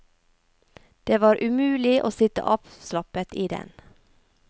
Det var umulig å sitte avslappet i den.